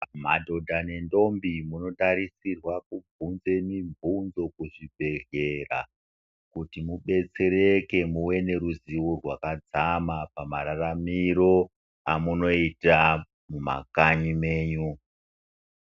Madhodha nendombi munotarisirwa kuvhunza mivhunzo kuzvibhedhlera kuti mudetsereke neruzivo rwakadzama pamararamiro amunoita mumakanyi menyu.